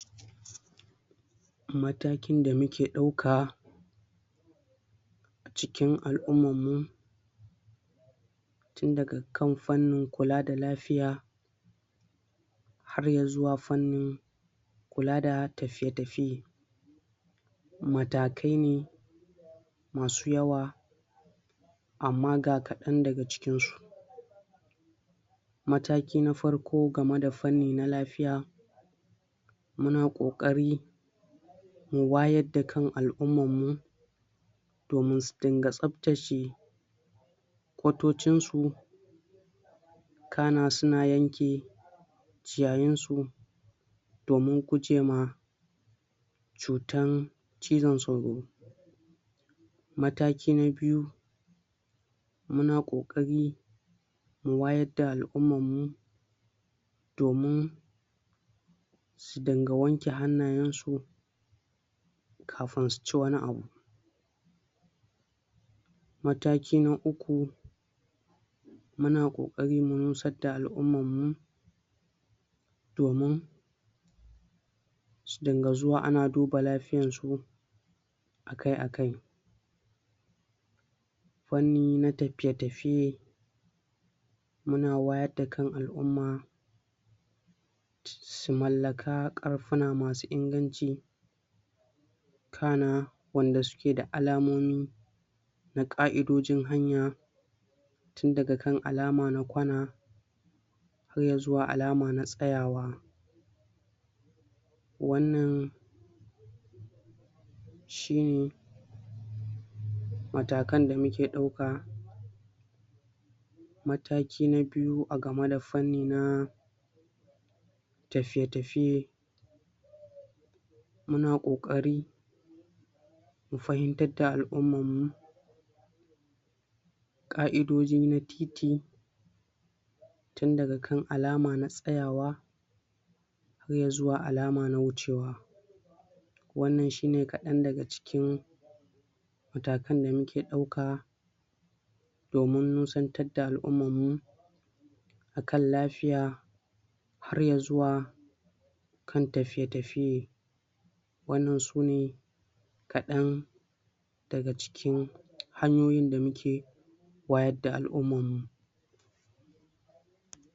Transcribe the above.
Matakin da muke ɗauka cikin al'ummar mu inda dukkan fannin kula da lafiya har ya zuwa fannin kula da tafiye-tafiye. Matakai ne masu yawa amma ga kaɗan daga cikin su; Mataki na farko game da fanni na lafiya muna ƙoƙari wayar da kan al'umman mu domin su dinga tsaftace kwatocinsu kana su na yanke ciyayin su domin guje ma cutan cizon sauro. Mataki na biyu muna ƙokari mu wayar da al'umman mu domin dinga wanke hannayen su kafin su ci wani abu. Mataki na uku muna ƙoƙari mu nusar da al'umman mu domin dinga zuwa ana duba lafiyan su aka-akai. Fanni na tafiye-tafiye muna wayar da kan al'umma su mallaka ƙarfuna masu inganci, kana wanda suke da alamomi, na ƙa'dojin hanya. Tun daga kan alama na kwana, har ya zuwa alama na tsayawa. Wannan shine matakan da muke ɗauka. Mataki na biyu a game da fanni na tafiye-tafiye muna ƙoƙari mu fahimtar da al'umman mu ƙa'idoji na titi tun daga kan alama na tsayawa har ya zuwa alama na wucewa. Wannan shine kaɗan daga cikin matakan da muke ɗauka domin nusantar da al'umman mu akan lafiya har ya zuwa kan tafiye-tafiye. Wannan sune kaɗan daga cikin hanyoyin da muke wayar da al'umman mu.